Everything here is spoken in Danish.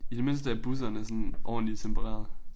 I det mindste er busserne sådan ordentlig tempererede